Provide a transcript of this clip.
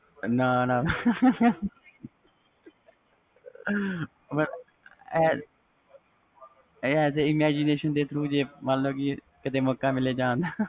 ਨਾ ਨਾ as a imagition ਮਤਬਲ ਮੌਕਾ ਮਿਲੇ ਜਾਨ ਦਾ